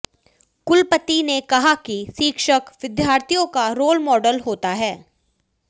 कुलपति ने कहा कि शिक्षक विद्यार्थियों का रोल माडल होता है